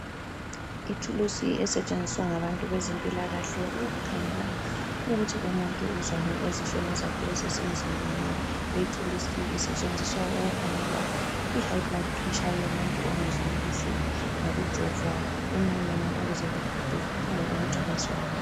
Ithulusi esetshenziswa ngabantu bezempilakahle, ukukhangela ukuthi umuntu uzwani ezifweni zakhe ezisemzimbeni. Lethulusi isetshenziswa ukukhangelwa ihigh blood pressure yomuntu ongezwa kuhle ngokujovwa emunweni ukuze kuphume ukuthi uzwani.